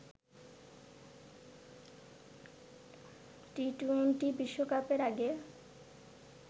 T twenty বিশ্বকাপের আগে